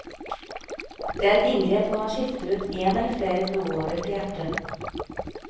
Det er et inngrep hvor man skifter ut én eller flere blodårer til hjertet.